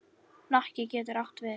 Hnakki getur átt við